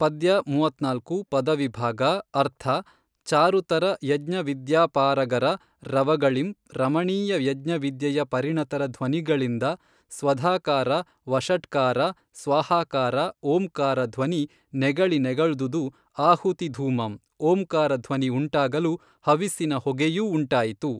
ಪದ್ಯ ಮೂವತ್ತ್ನಾಲ್ಕು ಪದವಿಭಾಗ ಅರ್ಥ ಚಾರುತರ ಯಜ್ಞವಿದ್ಯಾಪಾರಗರ ರವಗಳಿಂ ರಮಣೀಯ ಯಜ್ಞವಿದ್ಯೆಯ ಪರಿಣತರ ಧ್ವನಿಗಳಿಂದ ಸ್ವಧಾಕಾರ ವಷಟ್ಕಾರ ಸ್ವಾಹಾಕಾರ ಓಂಕಾರ ಧ್ವನಿ ನೆಗಳಿ ನೆಗಳ್ದುದು ಆಹುತಿಧೂಮಂ ಓಂಕಾರ ಧ್ವನಿ ಉಂಟಾಗಲು ಹವಿಸ್ಸಿನ ಹೊಗೆಯೂ ಉಂಟಾಯಿತು